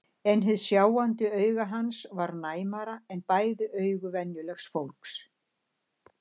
En hið sjáandi auga hans var næmara en bæði augu venjulegs fólks.